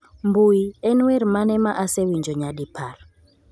mbui. En wer mane ma asewinjo nyadi par?